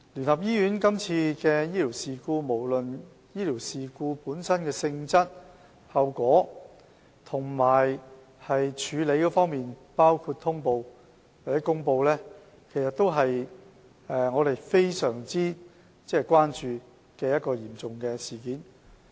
關於今次聯合醫院的醫療事故，無論是醫療事故本身的性質、後果和處理，包括通報或公布，也是我們非常關注的嚴重事件。